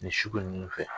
Nin sugu ninnu fɛ